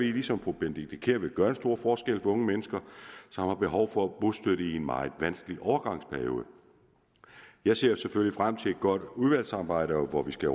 ligesom fru benedikte kiær at det vil gøre en stor forskel for unge mennesker som har behov for bostøtte i en meget vanskelig overgangsperiode jeg ser selvfølgelig frem til et godt udvalgsarbejde hvor vi skal